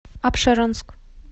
апшеронск